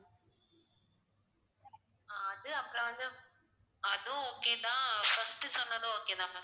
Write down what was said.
ஆஹ் அது அப்புறம் வந்து அதுவும் okay தான் first சொன்னது okay தான் ma'am